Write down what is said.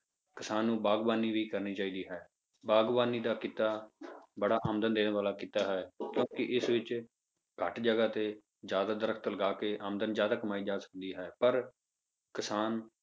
ਕਿਸਾਨ ਨੂੰ ਬਾਗ਼ਬਾਨੀ ਵੀ ਕਰਨੀ ਚਾਹੀਦੀ ਹੈ, ਬਾਗ਼ਬਾਨੀ ਦਾ ਕਿੱਤਾ ਬੜਾ ਆਮਦਨ ਦੇ ਵਾਲਾ ਕਿੱਤਾ ਹੈ ਕਿਉਂਕਿ ਇਸ ਵਿੱਚ ਘੱਟ ਜਗ੍ਹਾ ਤੇ ਜ਼ਿਆਦਾ ਦਰਖਤ ਲਗਾ ਕੇ ਆਮਦਨ ਜ਼ਿਆਦਾ ਕਮਾਈ ਜਾ ਸਕਦੀ ਹੈ, ਪਰ ਕਿਸਾਨ